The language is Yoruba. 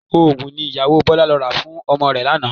Oògùn ni ìyàwó Bọlá lọ rà fún ọmọ rẹ̀ lánàá